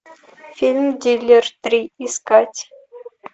фильм диллер три искать